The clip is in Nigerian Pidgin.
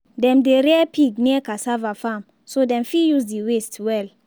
dem dey rear pig near cassava farm so dem fit use the waste well.